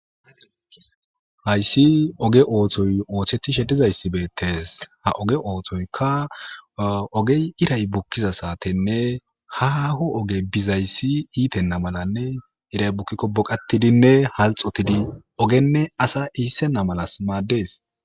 Haysi oge oothettishe dizaysi beettees, ha oge oothoy iray bukkiza wodenne ha haaho ogey iitenna mala bukkiko boqattidinne halxotidi ogenne asa iissonna malas maaddees.